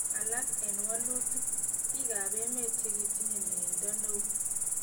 "Alak eng wolutik, bik kab emet chekitinye mieindo neo.